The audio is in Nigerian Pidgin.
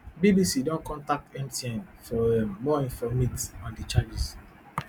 bbc don contact mtn for um more informate on di changes